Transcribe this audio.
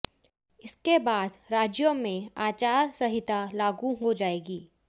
इसके बाद राज्यों में आचार संहिता लागू हो जाएगी